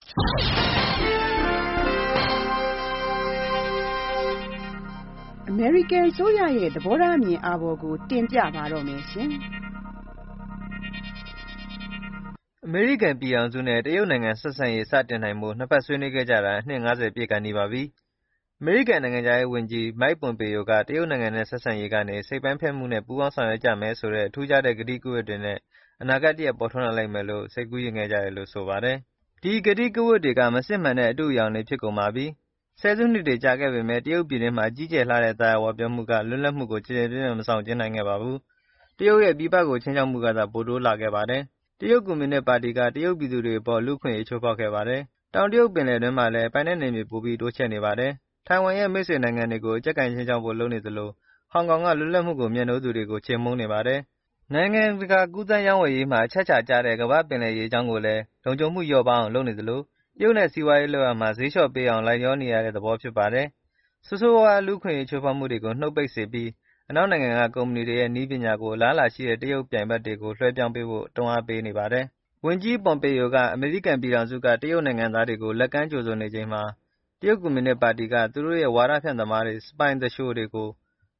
အမေရိကန်အစိုးရရဲ့ သဘောထားအမြင်အာဘော်ကို တင်ပြပါမယ်။ အမေရိကန်ပြည်ထောင်စုနဲ့ တရုတ်နိုင်ငံဆက်ဆံရေး စတင်နိုင်ဖို့ နှစ်ဘက်ဆွေးနွေးခဲ့ကြတာ အနှစ် ၅၀ ပြည့်ကာနီးပါပြီ။ အမေရိကန်နိုင်ငံခြားရေးဝန်ကြီး Mike Pompeo က တရုတ်နိုင်ငံနဲ့ ဆက်ဆံရေးကနေ စိတ်ပိုင်းဖြတ်မှုနဲ့ ပူးပေါင်းဆောင်ရွက်ကြမယ်ဆိုတဲ့ ထူးခြားတဲ့ ကတိကဝတ်တွေနဲ့ အနာဂတ်တရပ်ပေါ်ထွန်းလာလိမ့်မယ်လို့ စိတ်ကူးယဉ်ခဲ့ကြတယ်လို့ ဆိုပါတယ်။ ဒီကတိကဝတ်တွေက မစစ်မှန်တဲ့ အတုတွေဖြစ်ကုန်ပါပြီ။ ၁၀ စုနှစ်တွေကြာခဲ့ပေမဲ့ တရုတ်ပြည်တွင်းမှာ ကြီးကျယ်လှတဲ့ သာယာဝပြောမှုက လွပ်လပ်မှုကို ကျယ်ကျယ်ပြန့်ပြန့် မဆောင်ကျဉ်းနိုင်ခဲ့ပါဘူး။ တရုတ်ရဲ့ ပြည်ပကို ခြိမ်းခြောက်မှုကသာ ပိုတိုးလာခဲ့ပါတယ်။ တရုတ်ကွန်မြူနစ်ပါတီက တရုတ်ပြည်သူတွေအပေါ် လူ့အခွင့်အရေးချိုးဖေါက်ခဲ့ပါတယ်။ တောင်တရုတ်ပင်လယ်တွင်းမှာလည်း ပိုင်နက်နယ်မြေပိုပြီး တိုးချဲ့နေပါတယ်။ထိုင်ဝမ်ရဲ့ မိတ်ဆွေနိုင်ငံတွေကို အကျပ်ကိုင်ခြိမ်းခြောက်ဖို့ လုပ်နေသလို ဟောင်ကောင်က လွတ်လပ်မှုကိုမြတ်နိုးသူတွေကို ချေမှုန်းနေပါတယ်။ နိုင်ငံတကာကူးသန်းရေးဝယ်ရေးမှာ အချက်အခြာကျတဲ့ ကမ္ဘာ့ပင်လယ်ရေကြောင်းကိုလည်း လုံခြုံမှုလျော့ပါးအောင် လုပ်နေသလို တရုတ်နဲ့ စီးပွားရေးလုပ်ရာမှာ ဈေးလျှော့ပေးအောင်လိုက်လျောနေရတဲ့ သဘောဖြစ်နေပါတယ်။ ဆိုးဆိုးဝါးဝါး လူ့အခွင့်အရေးချိုးဖေါက်မှုတွေကိုနုတ်ပိတ်စေပြီး၊ အနောက်နိုင်ငံက ကုမ္မဏီတွေရဲ့ နည်းပညာတွေကို အလားအလာရှိတဲ့ တရုတ်ပြိုင်ဘက်တွေကို လွှဲပြောင်းပေးဖို့ တွန်းအားပေးပေါတယ်။ ဝန်ကြီး Pompeo က အမေရိကန်ပြည်ထောင်စုက တရုတ်နိုင်ငံသားတွေကို လက်ကမ်းကြိုဆို နေချိန်မှာ တရုတ်ကွန်မြူနစ်ပါတီက သူတို့ရဲ့ ဝါဒဖြန့်သမားတွေ၊ စပိုင် သူလျှိုတွေ ကို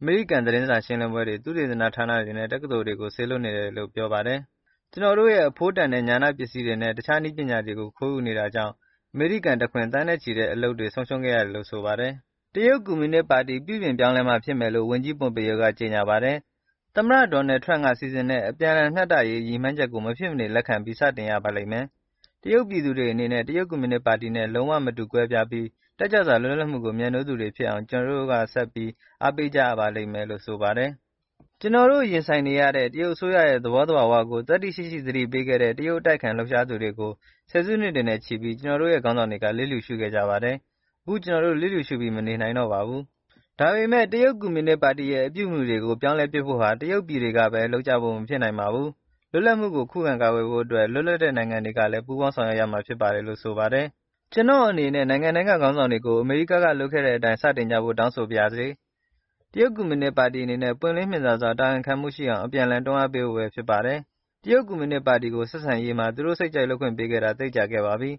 အမေရိကန်သတင်းစာရှင်းလင်းပွဲတွေ၊ သုတေသနဌာနတွေနဲ့ တက္ကသိုလ်တွေကို စေလွှတ်နေပါတယ်လို့ ပြောပါတယ်။ “ကျနော်တို့ရဲ့ အဖိုးတန်တဲ့ ဉာဏပစ္စည်းတွေနဲ့ တခြား နည်းပညာတွေကို ခိုးယူနေတာကြောင့် အမေရိကန်တခွင် သန်းနဲ့ ချီတဲ့အလုပ်တွေ ဆုံးရှုံးခဲ့ရတယ်” လို့ ဆိုပါတယ်။ တရုတ်ကွန်မြူနစ်ပါတီပြုပြင်ပြောင်းလဲမှဖြစ်မယ်လို့ ဝန်ကြီး Pompeo က ကြေညာပါတယ်။ သမ္မတ Donald Trump စီစဉ်တဲ့ အပြန်လှန်မျှတရေးဆိုတဲ့ ရည်မှန်းချက်ကို မဖြစ်မနေ လက်ခံပြီး စတင်ရပါလိမ့်မယ်။ တရုတ်ပြည်သူတွေအနေနဲ့ တရုတ်ကွန်မြူနစ်ပါတီနဲ့ လုံးဝမတူကွဲပြားပြီး တက်ကြွစွာ လွတ်လပ်မှုကို မြတ်နိုးတဲ့သူတွေဖြစ်အောင် ကျနော်တို့ ဆက်ပြီး အားပေးကြရပါလိမ့်မယ် လို့ ဆိုပါတယ်။ " ကျနော်တို့ ရင်ဆိုင်နေရတဲ့ တရုတ်အစိုးရရဲ့ သဘောသဘာဝကိုသတ္တိရှိရှိသတိပေးခဲ့တဲ့ တရုတ်အတိုက်အခံ လှုပ်ရှားသူတွေကို ၁၀ စုနှစ်တွေနဲ့ချီပြီး ကျနော်တို့ရဲ့ ခေါင်းဆောင်တွေကလျစ်လျုရှုခဲ့ကြပါတယ်။ အခု ကျနော်တို့ လျစ်လျူရှုပြီး မနေနိုင်တော့ပါဘူး။" ဒါပေမဲ့ တရုတ်ကွန်မြုနစ်ပါတီရဲ့ အပြုအမှုတွေကို ပြောင်းလဲဖို့ဟာ တရုတ်ပြည်တွေကဘဲ လုပ်ကြဖို့မဖြစ်နိုင်ပါဘူး။ လွတ်မြောက်မှုကို ခုခံကာကွယ်ဖို့ အတွက် လွတ်လပ်တဲ့နိုင်ငံတွေကလည်း ပူးပေါင်းဆောင်ရွက်ရမှာဖြစ်ပါတယ်လို့ ဆိုပါတယ်။ “ကျနော်အနေနဲ့ နိုင်ငံတိုင်းကခေါင်းဆောင်တွေကို အမေရိကန်က လုပ်ခဲ့တဲ့အတိုင်း စတင်ကြဖို့တောင်းဆိုပါရစေ။တရုတ်ကွန်မြုနစ်ပါတီအနေနဲ့ ပွင့်လင်းမြင်သာစွာ၊ တာဝန်ခံမှုရှိအောင် အပြန်အလှန်တွန်းအားပေးဖို့ဘဲဖြစ်ပါတယ်။ တရုတ်ကွန်မြူနစ်ပါတီကို ဆက်ဆံရေးမှာ သူတို့စိတ်ကြိုက်လုပ်ခွင့်ပေးခဲ့တာ သိပ်ကြာခဲ့ပါပြီ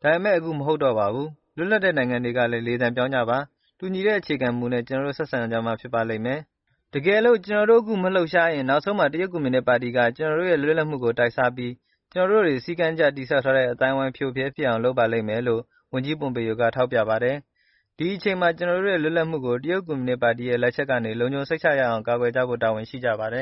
။ ဒါပေမဲ့ အခုမဟုတ်တော့ပါဘူး။ လွတ်လပ်တဲ့နိုင်ငံတွေကလည်း လေသံပြောင်းကြပါ။ တူညီတဲ့အခြေခံ မူနဲ့ ကျနော်တို့ ဆက်ဆံကြမှ ဖြစ်ပါလိမ့်မယ်။ တကယ်လို့ ကျနော်တို့အခု မလှုပ်ရှားရင်၊ နောက်ဆုံးမှာ တရုတ်ကွန်မြူနစ်ပါတီက ကျနော်တို့ရဲ့ လွတ်လပ်မှုကို တိုက်စားပြီး၊ ကျနော်တို့ တွေ စည်းကမ်းတကျတည်ဆောက်ထားတဲ့ အသိုင်းအဝိုင်း ဖရိုဖရဲဖြစ်အောင်လုပ်ပါလိမ့်မယ်” “ဒီအချိန်မှာ ကျနော်တို့ရဲ့ လွတ်လပ်မှုကို တရုတ်ကွန်မြူနစ်ပါတီရဲ့ လက်ချက်ကနေ လုံခြုံစိတ်ချရအောင်ကာကွယ်ကြဖို့တာဝန်ရှိကြပါတယ